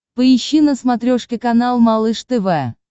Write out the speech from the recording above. поищи на смотрешке канал малыш тв